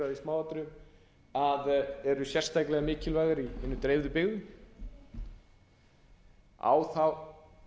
þarf ekki að fara yfir þá umræðu í smáatriðum eru sérstaklega mikilvægir í hinum dreifðu byggðum á þá